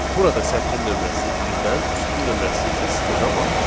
Burada sətrin nömrəsi birdən, sütunun nömrəsi isə sıfırdan başlayır.